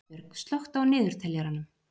Dagbjörg, slökktu á niðurteljaranum.